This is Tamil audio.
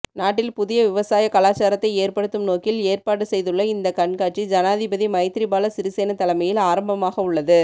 நாட்டில் புதிய விவசாய கலாசாரத்தை ஏற்படுத்தும் நோக்கில் ஏற்பாடுசெய்துள்ள இந்த கண்காடசி ஜனாதிபதிமைத்திரிபால சிறிசேன தலைமையில் ஆரம்பமாகவுள்ளது